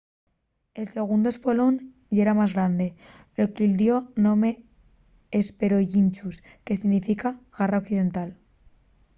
el segundu espolón yera más grande lo que-y dio'l nome de hesperonychus que significa garra occidental